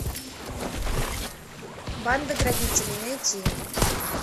банда грабителей найти